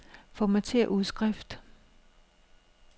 Formatér udskrift.